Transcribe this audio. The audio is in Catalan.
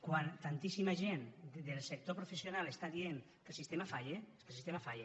quan tantíssima gent del sector professional està dient que el sistema falla és que el sistema falla